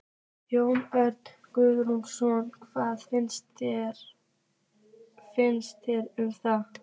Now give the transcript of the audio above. Jón Örn Guðbjartsson: Hvað finnst þér um það?